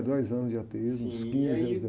Dois anos de ateísmo...im. E aí...os quinze aos